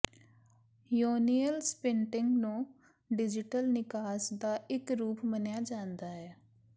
ਯੋਨੀਅਲ ਸਪਿਨਟਿੰਗ ਨੂੰ ਡਿਜੀਟਲ ਨਿਕਾਸ ਦਾ ਇੱਕ ਰੂਪ ਮੰਨਿਆ ਜਾਂਦਾ ਹੈ